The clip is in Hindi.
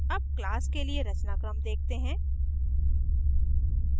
अब class के लिए रचनाक्रम देखते हैं